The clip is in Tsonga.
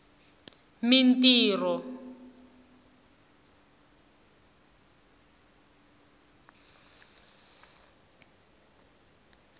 mintirho